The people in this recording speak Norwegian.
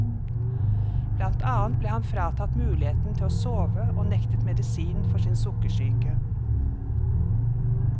Blant annet ble han fratatt muligheten til å sove og nektet medisin for sin sukkersyke.